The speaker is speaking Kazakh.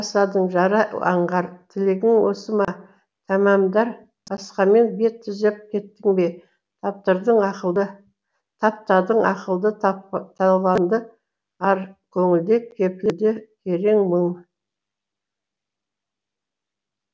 жасадың жара аңғар тілегің осы ма тәмәмдар басқамен бет түзеп кеттің бе таптадың ақылды таланды ар көңілде кептелді керең мұң